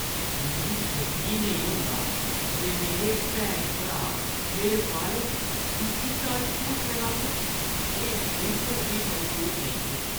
मिगी यकीन नेईं होंदा जे मेरे भैन-भ्रा मेरे बारे च इस चाल्ली झूठ फैलाङन। एह् बिल्कुल बी मंजूर नेईं ऐ।